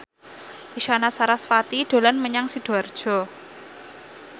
Isyana Sarasvati dolan menyang Sidoarjo